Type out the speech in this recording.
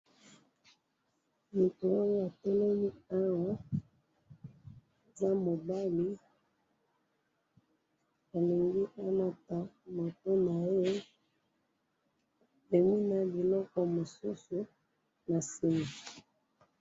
mutu oyo atelemi awa eza mobali, alingi a mata moto naye, amemi pe biloko mosusu na sima